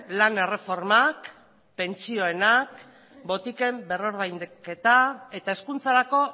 lan erreformak pentsioenak botiken berrordainketa eta hezkuntzarako